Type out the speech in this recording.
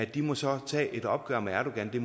de må så tage et opgør med erdogan det